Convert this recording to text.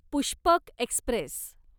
Pushpak Express